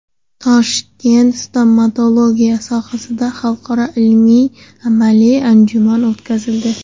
Toshkentda stomatologiya sohasidagi xalqaro ilmiy-amaliy anjuman o‘tkazildi.